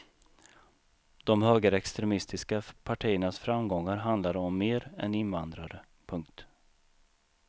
De högerextremistiska partiernas framgångar handlar om mer än invandrare. punkt